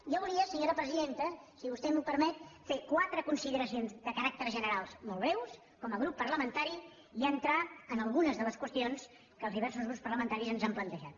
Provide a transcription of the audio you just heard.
jo volia senyora presidenta si vostè m’ho permet fer quatre consideracions de caràcter general molt breus com a grup parlamentari i entrar en algunes de les qüestions que els diversos grups parlamentaris ens han plantejat